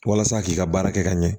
Walasa k'i ka baara kɛ ka ɲɛ